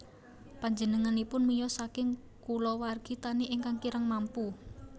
Panjenenganipun miyos saking kulawargi tani ingkang kirang mampu